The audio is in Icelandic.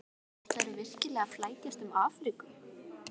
Ætlarðu virkilega að flækjast um Afríku?